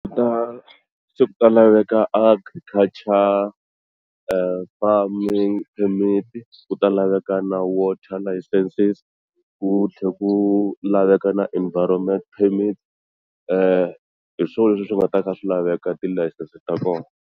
Ku ta se ku ta laveka Agriculture farming permit ku ta laveka na water licenses ku tlhela ku laveka na environment permit hi swona leswi swi nga ta ka swi laveka ti layisense ta kona.